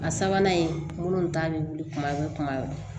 A sabanan in ta bɛ wili kuma bɛɛ kuma bɛɛ